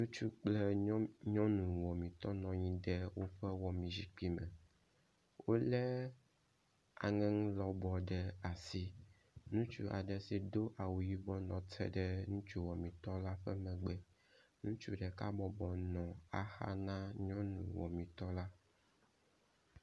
Ŋutsu kple nyɔnu wɔmitɔ nɔ anyi ɖe woƒe wɔmi zikpui me. Wo le aŋeŋu lɔbɔ ɖe asi. Ŋutsu aɖe si do awu yibɔ nɔ te ɖe ŋutsu wɔmitɔ la ƒe megbe. Ŋutsu ɖeka bɔbɔnɔ axa na nyɔnu wɔmitɔ la.